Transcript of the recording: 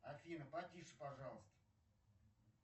афина потише пожалуйста